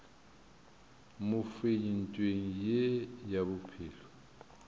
mofenyi ntweng ye ya bophelo